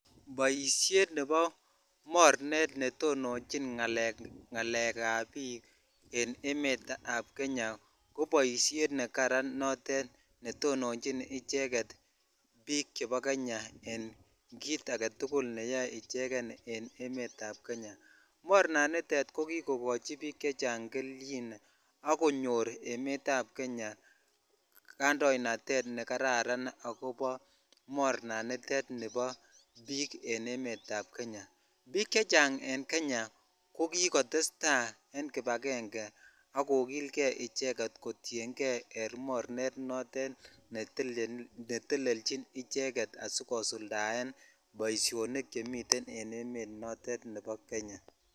Boishet nebo mornet netononchin ng'alekab biik en emetab kenya ko boishet nekaran notet netononchin icheket biik chebo Kenya en kiit aketukul neyoe icheken en emetab Kenya, mornaniton ko kii kokochi biik chechang kelchin ak konyor emetab Kenya kandoinatet nekararan akobo mornanitet nibo biik en emetab kenya, biik chechang en Kenya ko kikotesta en kibakeng'e kotienge en mornet notet netelelchin icheket asikosuldaen boishonik nemiten en emet notet nebo Kenya.